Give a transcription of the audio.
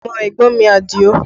Ọmọ ẹ̀gbọ́n mi Adio